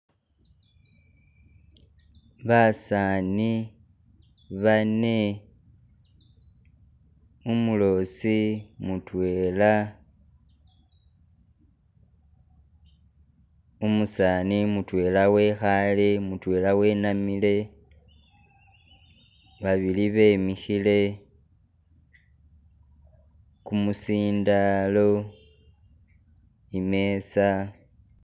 Basaani bane, umuloosi mutwela , umusani mutwela wekhaale mutwela wenamile, babili bemikhile kumusindalo imeza.